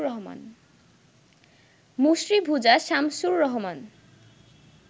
মুসরিভুজাশামসুর Rahman